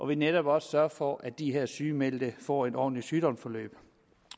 vi netop også sørger for at de her sygemeldte får et ordentligt sygdomsforløb